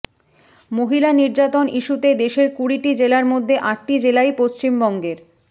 মহিলা নির্যাতন ইস্যুতে দেশের কুড়িটি জেলার মধ্যে আটটি জেলাই পশ্চিমবঙ্গের